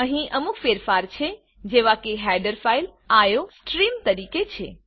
અહીં અમુક ફેરફાર છે જેવા કે હેડર ફાઈલ આઇસોટ્રીમ તરીકે છે